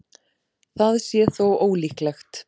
Það sé þó ólíklegt